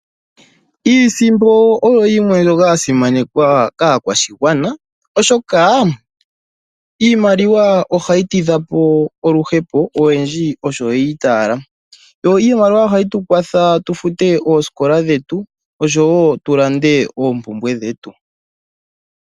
Iisimpo oyo yimwe mbyoka ya simanekwa kaakwashigwana oshoka iimaliwa ohayi tidha po oluhepo oyendji osho yi itaala yo iimaliwa ohayi tu kwatha tu fute oosikola dhetu osho wo tu lande oompumbwe dhetu.